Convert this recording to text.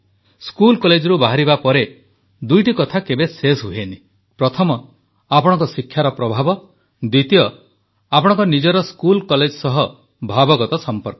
school କଲେଜରୁ ବାହାରିବା ପରେ ଦୁଇଟି କଥା କେବେ ଶେଷ ହୁଏନାହିଁ ପ୍ରଥମ ଆପଣଙ୍କ ଶିକ୍ଷାର ପ୍ରଭାବ ଦ୍ୱିତୀୟ ଆପଣଙ୍କ ନିଜର ସ୍କୁଲକଲେଜ ସହ ଭାବଗତ ସମ୍ପର୍କ